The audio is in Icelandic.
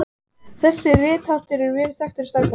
Þessi ritháttur er vel þekktur í stærðfræði.